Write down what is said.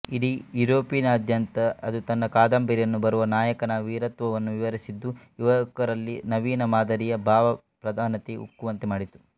ಇಡೀ ಯುರೊಪಿನಾದ್ಯಂತ ಅದು ತನ್ನ ಕಾದಂಬರಿಯಲ್ಲಿ ಬರುವ ನಾಯಕನ ವೀರತ್ವವನ್ನು ವಿವರಿಸಿದ್ದು ಯುವಕರಲ್ಲಿ ನವೀನ ಮಾದರಿಯ ಭಾವಪ್ರಧಾನತೆ ಉಕ್ಕುವಂತೆ ಮಾಡಿತು